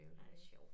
Ej hvor sjovt